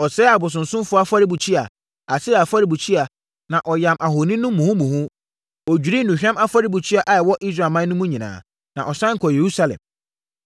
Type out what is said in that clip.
Ɔsɛee abosonsomfoɔ afɔrebukyia, Asera afɔrebukyia, na ɔyam ahoni no muhumuhu. Ɔdwirii nnuhwam afɔrebukyia a ɛwɔ Israelman mu nyinaa, na ɔsane kɔɔ Yerusalem.